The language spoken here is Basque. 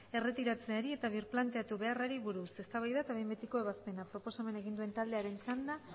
erretiratzeari eta birplanteatu beharrari buruz eztabaida eta behin betiko ebazpena proposamena egin duen taldearen txanda